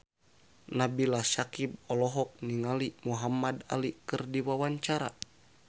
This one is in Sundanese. Nabila Syakieb olohok ningali Muhamad Ali keur diwawancara